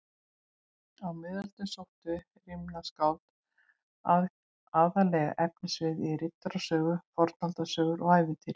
Á miðöldum sóttu rímnaskáld aðallega efnivið í riddarasögur, fornaldarsögur og ævintýri.